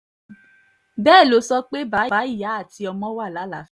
bẹ́ẹ̀ ló sọ pé bàbá ìyá àti ọmọ wà lálàáfíà